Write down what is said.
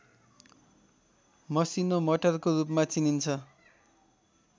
मसिनो मटरको रूपमा चिनिन्छ